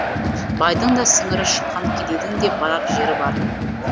байдың да сіңірі шыққан кедейдің де барар жері бар